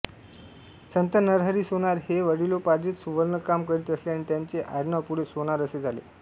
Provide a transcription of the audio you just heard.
संत नरहरी सोनार हे वडिलोपार्जित सुवर्णकाम करीत असल्याने त्यांचे आडनाव पुढे सोनार असे झाले